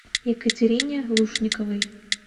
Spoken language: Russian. екатерине лушниковой